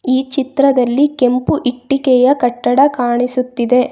ಈ ಚಿತ್ರದಲ್ಲಿ ಕೆಂಪು ಇಟ್ಟಿಗೆಯ ಕಟ್ಟಡ ಕಾಣಿಸ್ತಾ ಇದೆ.